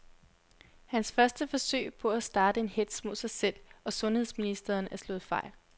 Hans første forsøg på at starte en hetz mod sig selv og sundheds ministeren er slået fejl.